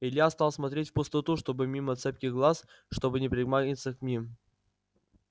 илья стал смотреть в пустоту чтобы мимо цепких глаз чтобы не примагнититься к ним